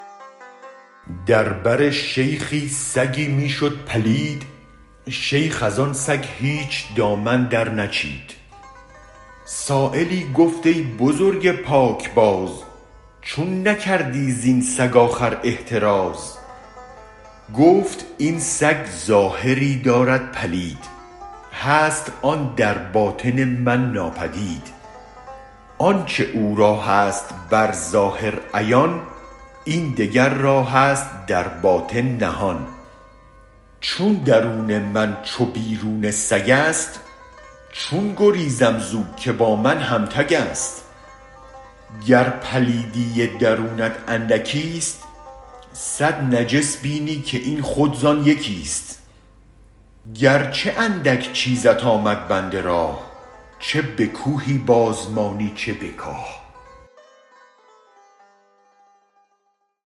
در بر شیخی سگی می شد پلید شیخ از آن سگ هیچ دامن در نچید سایلی گفت ای بزرگ پاکباز چون نکردی زین سگ آخر احتراز گفت این سگ ظاهری دارد پلید هست آن در باطن من ناپدید آنچ او را هست بر ظاهر عیان این دگر را هست در باطن نهان چون درون من چو بیرون سگست چون گریزم زو که با من هم تگ است گر پلیدی درونت اندکیست صد نجس بینی که این خود زان یکیست گرچه اندک چیزت آمد بند راه چه به کوهی بازمانی چه به کاه